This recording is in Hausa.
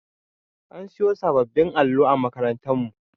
An siyo sabbin allo a makarantar mu